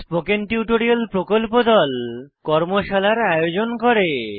spoken tutorial প্রকল্প দল কর্মশালার আয়োজন করে